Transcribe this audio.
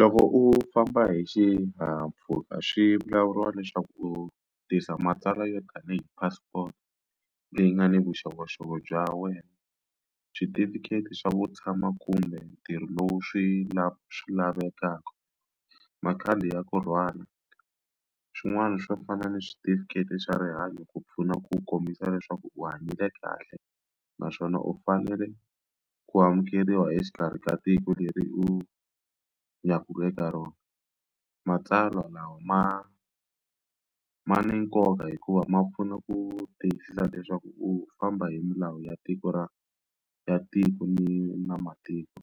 Loko u famba hi xihahampfhuka swi vulavuriwa leswaku u tisa matsalwa yo tanihi passport leyi nga ni vuxokoxoko bya wena switifiketi swa vo tshama kumbe ntirho lowu swi lava swi lavekaka makhadi ya kurhwala swin'wana swo fana ni switifiketi swa rihanyo ku pfuna ku kombisa leswaku u hanyile kahle naswona u fanele ku amukeriwa exikarhi ka tiko leri u ya ku eka rona matsalwa lawa ma ma na nkoka hikuva ma pfuna ku tiyisisa leswaku u famba hi milawu ya tiko ra ya tiko ni na matiko